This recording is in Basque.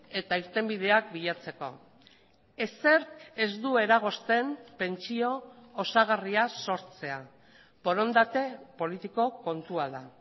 eta irtenbideak bilatzeko ezer ez du eragozten pentsio osagarria sortzea borondate politiko kontua da